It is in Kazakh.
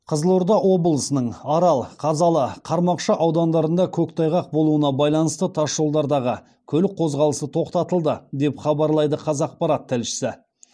қызылорда облысының арал қазалы қармақшы аудандарында көктайғақ болуына байланысты тасжолдардағы көлік қозғалысы тоқтатылды деп хабарлайды қазақпарат тілшісі